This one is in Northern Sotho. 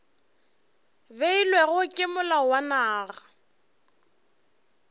beilwego ke molao wa naga